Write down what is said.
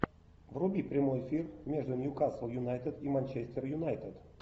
вруби прямой эфир между ньюкасл юнайтед и манчестер юнайтед